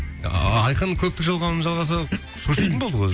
ааа айқын көптік жалғауын жалғаса шошитын болдық өзі